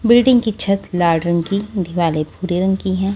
Building की छत लाल रंग की दिवाले भूरे रंग की हैं।